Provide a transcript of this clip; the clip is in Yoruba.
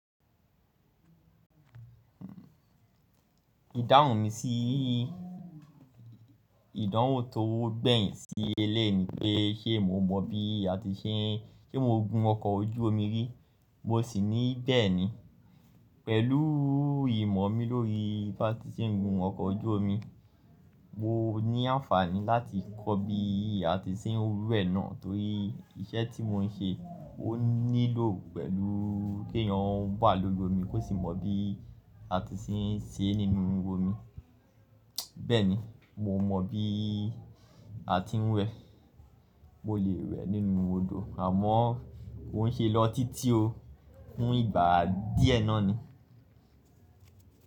Ìdáhùn mi sí ìdánwò tó gbẹ̀yìn sí elé ni pé ṣé mo mọ bí a ti ṣe ń gun ọkọ̀ ojú omi rí. Mo sì ní bẹ́ẹ̀ni. Pẹ̀lú ìmọ̀ mi lórí bí a ti ń gun ọkọ̀ ojú omi, mo ní àǹfààní láti kọ́ bí a ti ń rú ẹ náà torí iṣẹ́ tí mo ń ṣe ó nílò pẹ̀lú kí èèyàn ó wà lórí omi kó sì mọ bí a ti ń ṣe é nínú omi. Bẹ́ẹ̀ni, mo mọ bí a ti ń wẹ. Mo lè wẹ nínú odò àmọ́ ó ń ṣe lọ títí o fún ìgbà díẹ̀ náà ni.